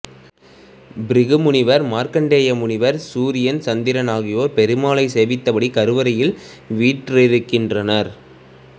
பிருகு முனிவர் மார்க்கண்டேய முனிவர் சூரியன் சந்திரன் ஆகியோர் பெருமாளை சேவித்தபடி கருவறையில் வீற்றிருக்கின்றனர்